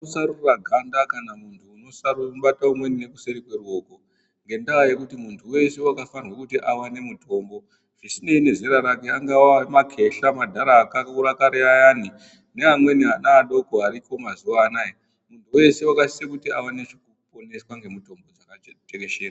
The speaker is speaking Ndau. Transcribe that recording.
Kusarura ganda kana muntu usarubate umweni ngekuseri kweruoko . Ngendaa yekuti muntu weshe wakafanirwe kuti awane mutombo zvisinei nezera rake angaa makehla madhara akakura kare ayani neamweni ana adoko ariko mazuwa anaya muntu weshe wakasisa kuti aponeswe ngemutombo dzakatekeshera.